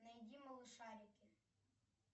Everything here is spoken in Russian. найди малышарики